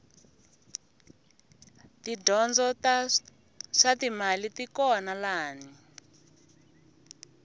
tidyondzo ta swatimali tikona lani